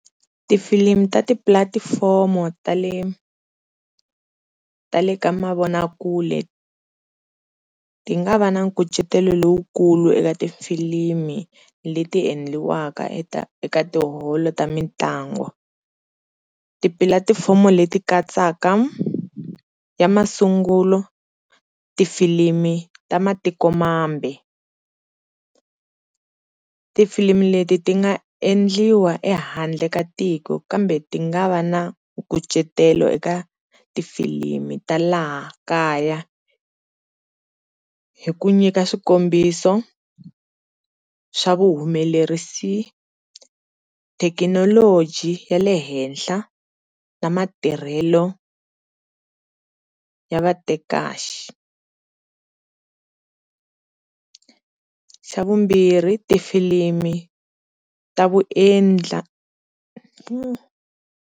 Tifilimu ta tipulatifomo ta le ka mavonakule ti nga va na kucetela lowukulu ekatifilimu leti endliwaka eka eka tiholo ta mitlangu, tipalatifomu leti katsaka ya masungulo tifilimu ta matikomambe. Tifilimu leti ti nga endliwa ehandle ka tiko kambe ti nga va na nkucetelo eka tifilimu ta laha kaya hi ku nyika swikombiso swa vu humelerisi, thekinoloji ya le henhla ya matirhelo ya vatekahle, xa vumbirhi tifilimu ta vaendla.